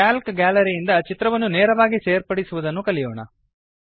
Calc ಗ್ಯಾಲರಿಯಿಂದ ಚಿತ್ರವನ್ನು ನೇರವಾಗಿ ಸೇರ್ಪರ್ಡಿಸುವುದನ್ನು ಕಲಿಯೋಣ